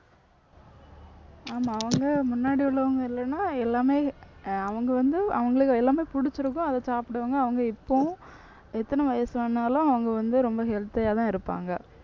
ஆமா அவங்க முன்னாடி உள்ளவங்க இல்லைன்னா எல்லாமே அஹ் அவங்க வந்து அவங்களுக்கு எல்லாமே பிடிச்சிருக்கும் அதை சாப்பிடுவாங்க அவங்க இப்பவும் எத்தனை வயசானாலும் அவங்க வந்து ரொம்ப healthy யாதான் இருப்பாங்க